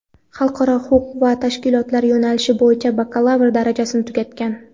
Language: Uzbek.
xalqaro huquq va tashkilotlar yo‘nalishi bo‘yicha bakalavr darajasini tugatgan.